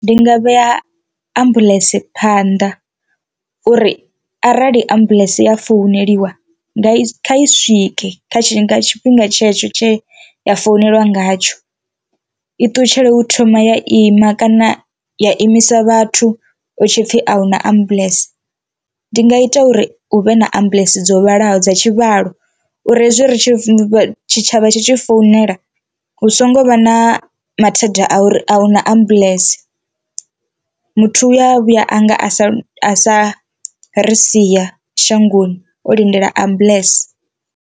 Ndi nga vhea ambuḽentse phanḓa uri arali ambuḽentse ya founeliwa nga i kha i swike nga tshifhinga tshetsho tshine ya founeliwa ngatsho i ṱutshele u thoma ya ima kana ya imisa vhathu hu tshi pfhi ahuna ambulance. Ndi nga ita uri huvhe na ambulance dzo vhalaho dza tshivhalo uri hezwi ri tshi tshitshavha tshi tshi founela hu songo vha na mathada a uri ahuna ambuḽentse, muthu uya vhuya anga a sa a sa ri sia shangoni o lindela ambulance.